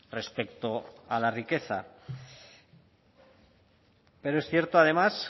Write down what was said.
respecto a la riqueza pero es cierto además